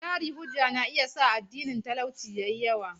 Jari-hujja na iya sa adadin talauci ya yi yawa.